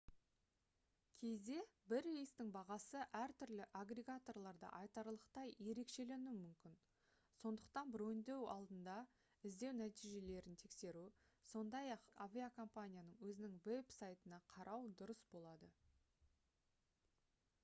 кейде бір рейстің бағасы әртүрлі аггрегаторларда айтарлықтай ерекшеленуі мүмкін сондықтан броньдау алдында іздеу нәтижелерін тексеру сондай-ақ авиакомпанияның өзінің веб-сайтына қарау дұрыс болады